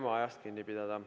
Püüame ajast kinni pidada.